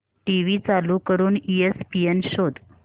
TV चालू करून ESPN शोध